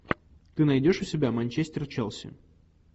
ты найдешь у себя манчестер челси